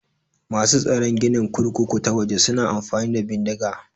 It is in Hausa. Masu tsaron ginin kurkuku ta waje suna amfani da bindiga.